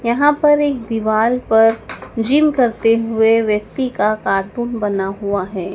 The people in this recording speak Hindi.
यहां पर एक दीवाल पर जिम करते हुए व्यक्ति का कार्टून बना हुआ है।